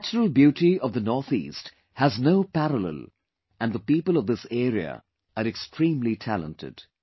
The natural beauty of North East has no parallel and the people of this area are extremely talented